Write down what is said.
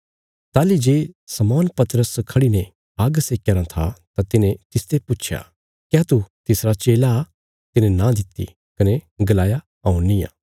ताहली जे शमौन पतरस खढ़ी ने आग्ग सेक्या राँ था तां तिन्हें तिस्सो पुच्छया क्या तू तिसरा चेला तिने नां दित्ति कने गलाया हऊँ निआं